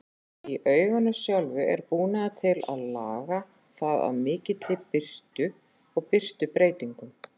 Í auganu sjálfu er búnaður til að laga það að mikilli birtu og birtubreytingum.